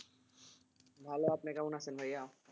ভালো আপনি কেমন আছে ভাইয়া?